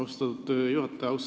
Austatud juhataja!